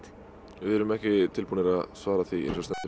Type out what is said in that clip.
við erum ekki tilbúnir að svara því